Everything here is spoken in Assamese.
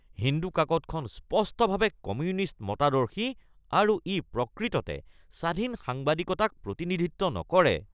হিন্দু কাকতখন স্পষ্টভাৱে কমিউনিষ্ট মতাদৰ্শী আৰু ই প্ৰকৃততে স্বাধীন সাংবাদিকতাক প্ৰতিনিধিত্ব নকৰে